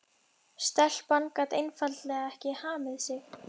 Stelpan gat einfaldlega ekki hamið sig.